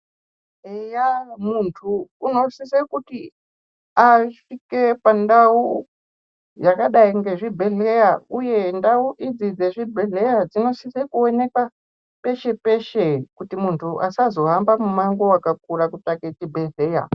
Eya muntu unosise kuti asvike pandau yakadai ngezvibhedhleya, uye ndau idzi dzezvibhedhleya dzinosise kuonekwa peshe-peshe. Kuti muntu asazohamba mumango vakakura kutsvake chibhedhleya.